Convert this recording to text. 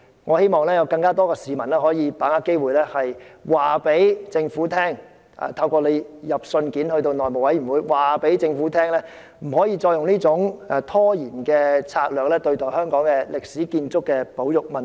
我希望有更多市民把握機會，透過致函內務委員會，告訴政府不可以繼續採取這種拖延的策略，對待香港歷史建築物的保育問題。